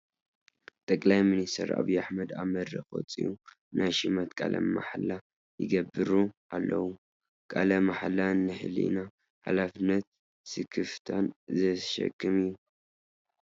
ጠቅላይ ሚኒስተር ዓብዪ ኣሕመድ ኣብ መድረኽ ወፂኦም ናይ ሽመት ቃለ ማሕላ ይገብሩ ኣለዉ፡፡ ቃለ ማሕላ ንሕሊና ሓላፍነትን ስክፍታን ዘሽክም እዩ፡፡